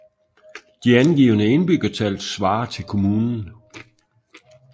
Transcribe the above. De angivne indbyggertal svarer til kommunen